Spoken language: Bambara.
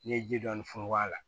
N'i ye ji dɔɔni funfun a la